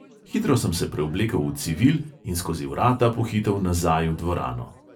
Hitro sem se preoblekel v civil in skozi vrata pohitel nazaj v dvorano.